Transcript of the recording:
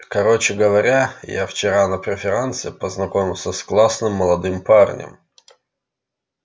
короче говоря я вчера на преферансе познакомился с классным молодым парнем